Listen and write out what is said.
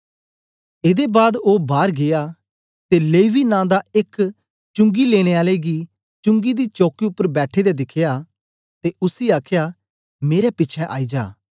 एदे बाद ओ बार गीया ते लेवी नां दा एक चुंगी लेने आले गी चुंगी दी चौकी उपर बैठे दे दिखया ते उसी आखया मेरे पिछें आई जा